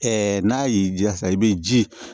n'a y'i jira sisan i bɛ ji